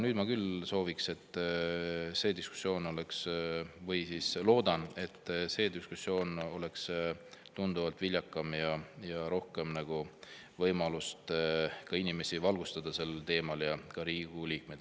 Nüüd ma küll soovin, et see diskussioon oleks – või siis loodan – tunduvalt viljakam ja oleks võimalus inimesi rohkem valgustada sel teemal, ka Riigikogu liikmeid.